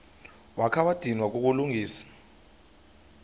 wakha wadinwa kukulungisa